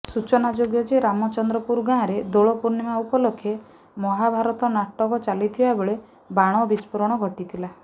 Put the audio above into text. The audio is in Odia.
ସୂଚନାଯୋଗ୍ୟ ଯେ ରାମଚନ୍ଦ୍ରପୁର ଗାଁରେ ଦୋଳପୂର୍ଣ୍ଣିମା ଉପଲକ୍ଷେ ମହାଭାରତ ନାଟକ ଚାଲିଥିବା ବେଳେ ବାଣ ବିସ୍ଫୋରଣ ଘଟିଥିଲା